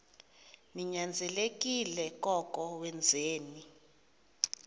ninyanzelekile koko wenzeni